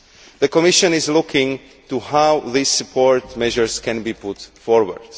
The Commission is looking into how these support measures can be put forward.